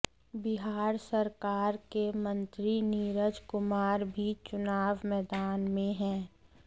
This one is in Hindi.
बिहार सरकार के मंत्री नीरज कुमार भी चुनाव मैदान में हैं